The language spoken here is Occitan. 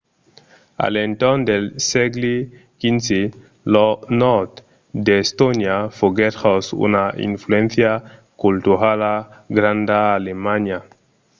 a l’entorn del sègle xv lo nòrd d’estònia foguèt jos una influéncia culturala granda d’alemanha